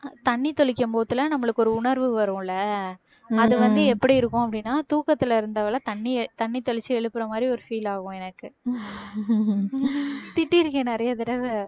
தண்ணி தெளிக்கும் போதுலாம் நம்மளுக்கு ஒரு உணர்வு வரும் இல்ல அது வந்து எப்படி இருக்கும் அப்படின்னா தூக்கத்துல இருந்தவளை தண்ணிய தண்ணி தெளிச்சு எழுப்புற மாதிரி ஒரு feel ஆகும் எனக்கு திட்டிருக்கேன் நிறைய தடவை